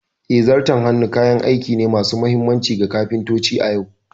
Eh, Zarton hannu kayan aiki ne masu mahimmanci ga kafintoci a yau.